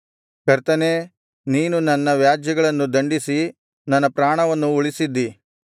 ಕರ್ತನೇ ನೀನು ನನ್ನ ವ್ಯಾಜ್ಯಗಳನ್ನು ನಡಿಸಿ ನನ್ನ ಪ್ರಾಣವನ್ನು ಉಳಿಸಿದ್ದೀ